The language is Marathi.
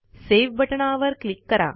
सेव्ह बटणावर क्लिक करा